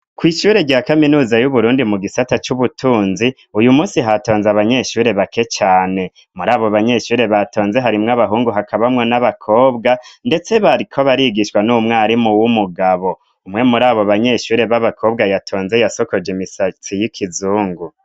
Ko'ishure rya kaminuza y'uburundi mu gisata c'ubutunzi uyu musi hatonze abanyeshure bake cane muri abo banyeshure batonze harimwo abahungu hakabamwo n'abakobwa, ndetse bariko barigishwa n'umwarimu w'umugabo umwe muri abo banyeshure b'abakobwa yatonze yasokoje imisatsi y'ikizungu.